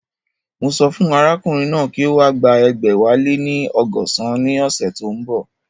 Mo sọ fún arákùnrin náà kí ó wá gba ẹgbẹ̀wáléní ọgọ́san ní ọ̀sẹ̀ tí ó ń bọ̀